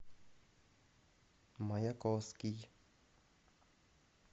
маяковский